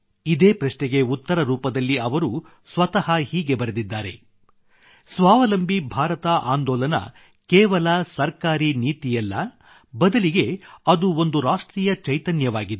ಇದೇ ಪ್ರಶ್ನೆಗೆ ಉತ್ತರ ರೂಪದಲ್ಲಿ ಅವರು ಸ್ವತಃ ಹೀಗೆ ಬರೆದಿದ್ದಾರೆ ಸ್ವಾವಲಂಬಿ ಭಾರತ ಆಂದೋಲನ ಕೇವಲ ಸರ್ಕಾರಿ ನೀತಿಯಲ್ಲ ಬದಲಿಗೆ ಅದು ಒಂದು ರಾಷ್ಟ್ರೀಯ ಚೈತನ್ಯವಾಗಿದೆ